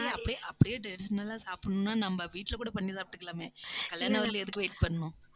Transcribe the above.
ஆஹ் அப்படியே, அப்படியே traditional ஆ சாப்பிடணும்ன்னா நம்ம வீட்ல கூட பண்ணி சாப்பிட்டுக்கலாமே. கல்யாணம் வரையிலும் எதுக்கு wait பண்ணணும்